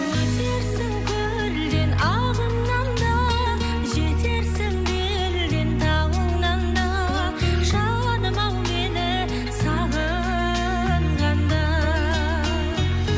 өтерсің көлден ағыннан да жетерсің белден тауыңнан да жаным ау мені сағынғанда